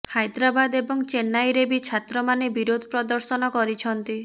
ହାଇଦ୍ରାବାଦ ଏବଂ ଚେନ୍ନାଇରେ ବି ଛାତ୍ରମାନେ ବିରୋଧ ପ୍ରଦର୍ଶନ କରିଛନ୍ତି